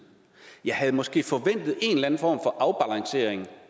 jeg havde måske forventet